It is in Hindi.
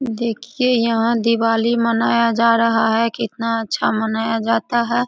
देखिए यहाँ दिवाली मनाया जा रहा है कितना अच्छा मनाया जाता है।